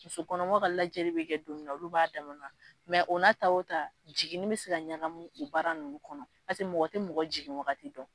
Musokɔnɔmaw ka lajɛli bɛ kɛ don min na, olu b'a daan mɛ o n'a ta o ta jigin ni bɛ se ka ɲagamu u baara ninnu kɔnɔ mɔgɔ tɛ mɔgɔ jigiwagati dɔn.